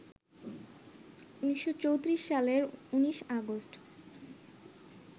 ১৯৩৪ সালের ১৯ আগস্ট